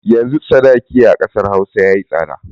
Yanzu sadaki a ƙasar Hausa ya yi tsada.